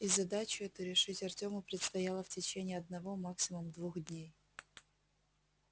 и задачу эту решить артёму предстояло в течение одного максимум двух дней